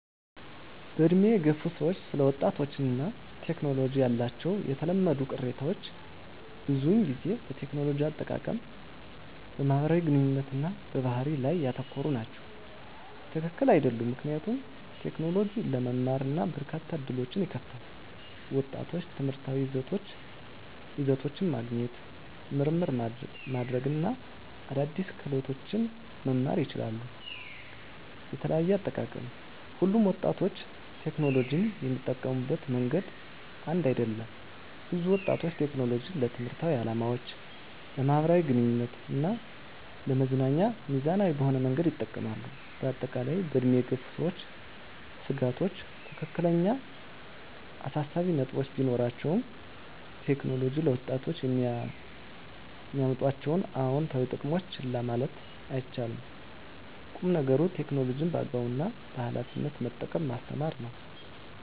በዕድሜ የገፉ ሰዎች ስለ ወጣቶች እና ቴክኖሎጂ ያላቸው የተለመዱ ቅሬታዎች ብዙውን ጊዜ በቴክኖሎጂ አጠቃቀም፣ በማህበራዊ ግንኙነት እና በባህሪ ላይ ያተኮሩ ናቸው። # ትክክል አይደሉም ምክንያቱም: ቴክኖሎጂ ለመማር እና በርካታ ዕድሎችን ይከፍታል። ወጣቶች ትምህርታዊ ይዘቶችን ማግኘት፣ ምርምር ማድረግ እና አዳዲስ ክህሎቶችን መማር ይችላሉ። * የተለያየ አጠቃቀም: ሁሉም ወጣቶች ቴክኖሎጂን የሚጠቀሙበት መንገድ አንድ አይደለም። ብዙ ወጣቶች ቴክኖሎጂን ለትምህርታዊ ዓላማዎች፣ ለማኅበራዊ ግንኙነት እና ለመዝናኛ ሚዛናዊ በሆነ መንገድ ይጠቀማሉ። በአጠቃላይ፣ በዕድሜ የገፉ ሰዎች ስጋቶች ትክክለኛ አሳሳቢ ነጥቦች ቢኖራቸውም፣ ቴክኖሎጂ ለወጣቶች የሚያመጣቸውን አዎንታዊ ጥቅሞች ችላ ማለት አይቻልም። ቁም ነገሩ ቴክኖሎጂን በአግባቡ እና በኃላፊነት መጠቀምን ማስተማር ነው።